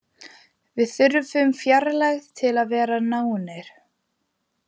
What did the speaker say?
Við þurfum fjarlægð til að vera nánir.